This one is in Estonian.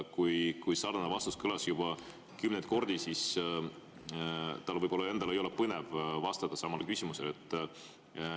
Kui sarnane vastus on kõlanud juba kümneid kordi, siis tal võib-olla endal ei ole põnev vastata samale küsimusele.